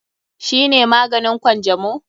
Shi ne maganin Kwanjamo?